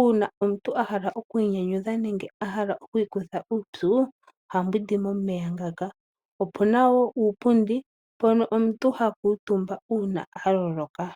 Uuna omuntu a hala okwiinyangudha nenge a hala okwiikutha uupyu oha mbwindi momeya ngaka. Opuna wo uupundi mpono omuntu ha kuutumba uuna loloka.